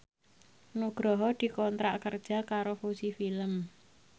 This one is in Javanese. Nugroho dikontrak kerja karo Fuji Film